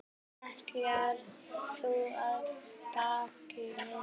Ætlar þú á ballið?